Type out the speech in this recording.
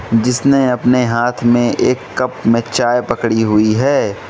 जिसने अपने हाथ में एक कप में चाय पकड़ी हुई है।